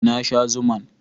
Na sha zuman